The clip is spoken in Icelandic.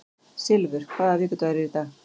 Silfur, hvaða vikudagur er í dag?